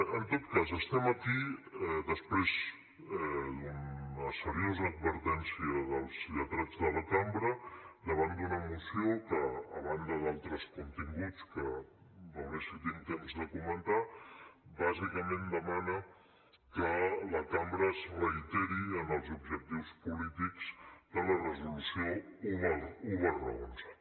en tot cas estem aquí després d’una seriosa advertència dels lletrats de la cambra davant d’una moció que a banda d’altres contingut que veuré si tinc temps de comentar bàsicament demana que la cambra es reiteri en els objectius polítics de la resolució un xi